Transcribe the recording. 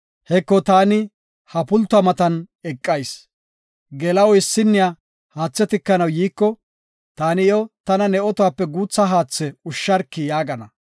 Heko, taani ha pultuwa matan eqayis; geela7o issinniya haathe tikanaw yiiko, taani iyo, tana ne otuwape guutha haathe ushsharki’ yaagana.